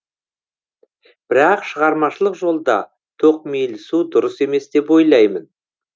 бірақ шығармашылық жолда тоқмейілсу дұрыс емес деп ойлаймын